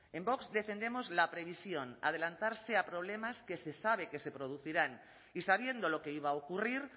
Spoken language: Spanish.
en vox defendemos la previsión adelantarse a problemas que se sabe que se producirán y sabiendo lo que iba a ocurrir